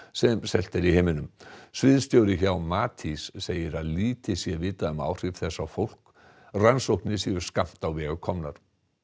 sem selt er í heiminum sviðstjóri hjá Matís segir að lítið sé vitað um áhrif þess á fólk rannsóknir séu skammt á veg komnar